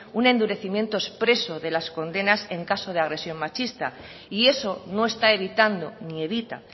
un endurecimiento expreso de las condenas en caso de agresión machista y eso no está evitando ni evita